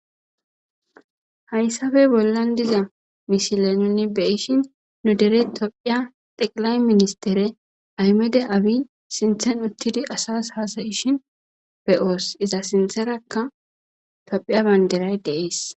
Hayssafe bollan diza mishile nunni beyishin nu dere tophiya xeqilay ministere aymede abi sinthen uttidi asas haasayishin beyoos iza sintherakka tophiya banderay deees.